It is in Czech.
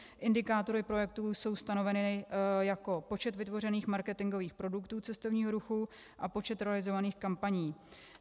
Indikátory projektů jsou stanoveny jako počet vytvořených marketingových produktů cestovního ruchu a počet realizovaných kampaní.